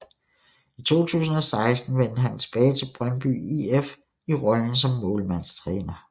I 2016 vendte han tilbage til Brøndby IF i rollen som målmandstræner